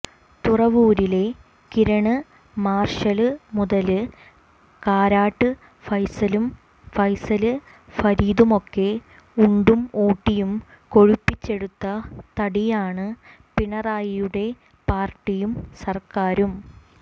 തുറവൂരിലെ Kiran Marshal മുതല് കാരാട്ട് ഫൈസലും ഫൈസല് ഫരീദുമൊക്കെ ഉണ്ടും ഊട്ടിയും കൊഴുപ്പിച്ചെടുത്ത തടിയാണ് പിണറായിയുടെ പാര്ട്ടിയും സര്ക്കാരും